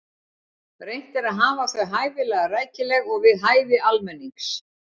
Reynt er að hafa þau hæfilega rækileg og við hæfi almennings.